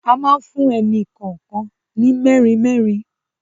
A máa fún ẹnì kọ̀ọ̀kan ní merin merin.